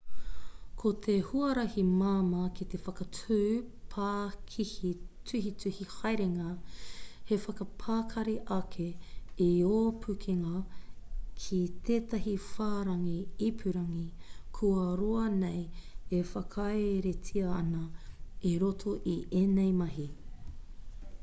ko te huarahi māmā ki te whakatū pākihi tuhituhi haerenga he whakapakari ake i ō pukenga ki tētahi whārangi ipurangi kua roa nei e whakaeretia ana i roto i ēnei mahi